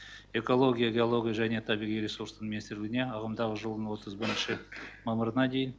экология геология және табиғи ресурстың министрлігіне ағымдағы жылдың отыз бірінші мамырына дейін